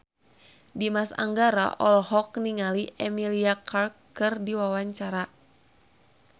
Dimas Anggara olohok ningali Emilia Clarke keur diwawancara